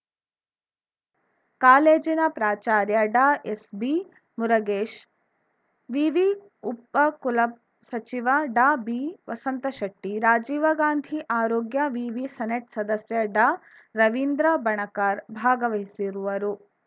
ಕಾಲೇಜಿನ ಪ್ರಾಚಾರ್ಯ ಡಾ ಎಸ್‌ಬಿ ಮುರುಗೇಶ್ ವಿವಿ ಉಪ ಕುಲಸಚಿವ ಡಾ ಬಿವಸಂತ ಶೆಟ್ಟಿ ರಾಜೀವ ಗಾಂಧಿ ಆರೋಗ್ಯ ವಿವಿ ಸೆನೆಟ್‌ ಸದಸ್ಯ ಡಾರವೀಂದ್ರ ಬಣಕಾರ್‌ ಭಾಗವಹಿಸಿರುವರು